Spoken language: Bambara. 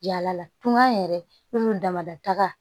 Yala la tunga yɛrɛ munnu dama da taga